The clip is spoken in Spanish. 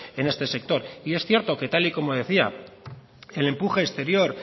en este sector y es cierto que tal y como decía el empuje exterior